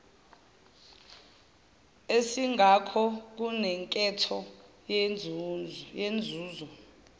esingakho kunenketho yenzuzo